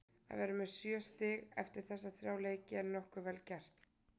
Að vera með sjö stig eftir þessa þrjá leiki er nokkuð vel gert.